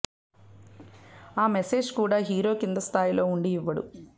ఆ మెసేజ్ కూడా హీరో కింద స్థాయిలో వుండి ఇవ్వడు